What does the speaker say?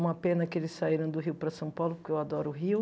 Uma pena que eles saíram do Rio para São Paulo, porque eu adoro o Rio.